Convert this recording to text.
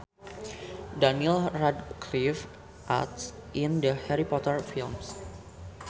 Daniel Radcliffe acts in the Harry Potter films